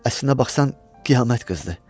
Əslinə baxsan qiyamət qızdır.